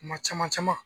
Kuma caman caman